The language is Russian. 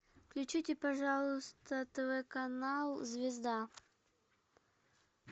включите пожалуйста тв канал звезда